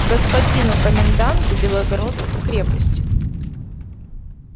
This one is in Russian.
господину коменданту белогородской крепости